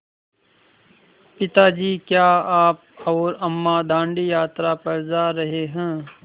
पिता जी क्या आप और अम्मा दाँडी यात्रा पर जा रहे हैं